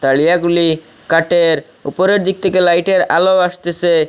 তারিয়াগুলি কাটের ওপরের দিক থেকে লাইটের আলো আসতেসে।